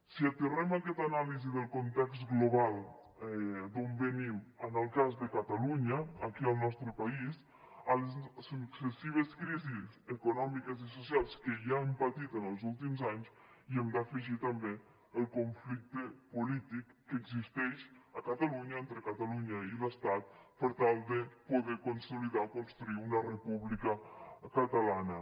si aterrem aquesta anàlisi del context global d’on venim en el cas de catalunya aquí al nostre país a les successives crisis econòmiques i socials que ja hem patit en els últims anys hi hem d’afegir també el conflicte polític que existeix a catalunya entre catalunya i l’estat per tal de poder consolidar o construir una república catalana